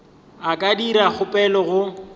a ka dira kgopelo go